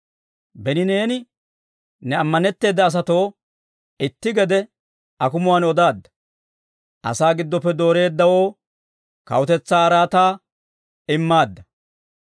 Beni neeni ne ammanetteeda asatoo, itti gede akumuwaan odaadda; «Asaa gidoppe dooreeddawoo kawutetsaa araataa immaadda.